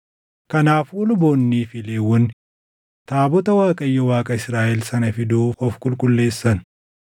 Kanaafuu luboonnii fi Lewwonni taabota Waaqayyo Waaqa Israaʼel sana fiduuf of qulqulleessan.